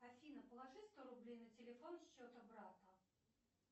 афина положи сто рублей на телефон счета брата